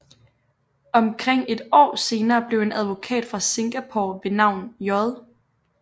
Omkring et år senere blev en advokat fra Singapore ved navn J